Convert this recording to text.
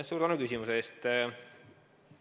Suur tänu küsimuse eest!